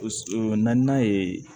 naaninan ye